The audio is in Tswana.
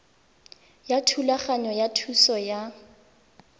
ya thulaganyo ya thuso ya